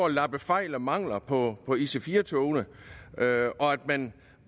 lappe fejl og mangler på ic4 togene og at man